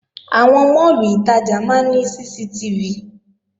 Àwọn máàlù ìtajà máa ní CCTV